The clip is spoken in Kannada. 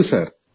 ಹೌದು ಸರ್